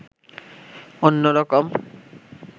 অন্যরকম